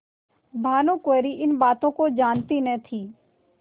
भानुकुँवरि इन बातों को जानती न थी